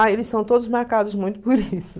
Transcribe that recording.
Ah, eles são todos marcados muito por isso.